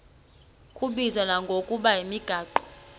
kubizwa ngokuba yimigaqo